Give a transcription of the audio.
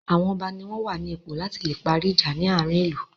Àwọn ọba ní wọ́n wà ní ipò la tí le parí ìjà ní àárín ìlú.